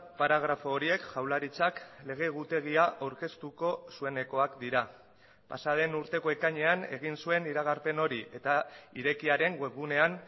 paragrafo horiek jaurlaritzak lege egutegia aurkeztuko zuenekoak dira pasa den urteko ekainean egin zuen iragarpen hori eta irekiaren web gunean